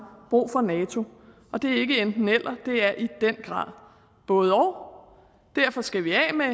brug for nato og det er ikke et enten eller det er i den grad både og derfor skal vi af med